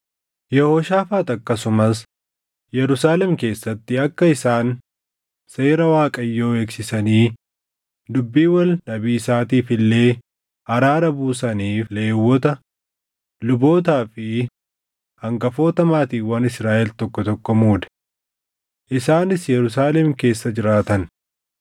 Yehooshaafaax akkasumas Yerusaalem keessatti akka isaan seera Waaqayyoo eegsisanii dubbii wal dhabiisaatiif illee araara buusaniif Lewwota, lubootaa fi hangafoota maatiiwwan Israaʼel tokko tokko muude. Isaanis Yerusaalem keessa jiraatan.